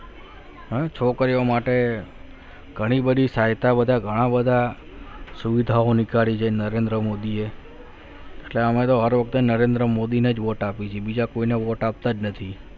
છોકરીઓ માટે ઘણી બધી સહાયતા બધા ઘણા બધા સુવિધાઓ નીકાળી નરેન્દ્ર મોદીએ એટલે અમે તો હર વખતે નરેન્દ્ર મોદીને જ વોટ આપી છે બીજા કોઈને vote આપતા જ નથી.